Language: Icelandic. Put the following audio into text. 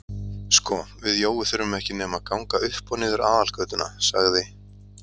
Sko við Jói þurfum ekki nema að ganga upp og niður aðalgötuna sagði